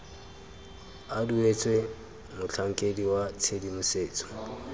a duetswe motlhankedi wa tshedimosetso